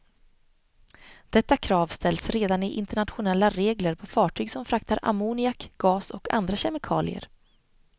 Detta krav ställs redan i internationella regler på fartyg som fraktar ammoniak, gas och andra kemikalier.